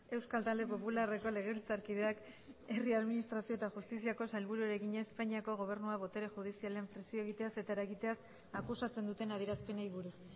euskal talde popularreko legebiltzarkideak herri administrazio eta justiziako sailburuari egina espainiako gobernua botere judizialean presio egiteaz eta eragiteaz akusatzen duten adierazpenei buruz